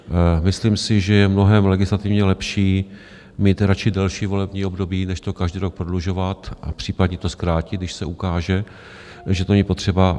Myslím si, že je mnohem legislativně lepší mít radši delší volební období než to každý rok prodlužovat, a případně to zkrátit, když se ukáže, že to není potřeba.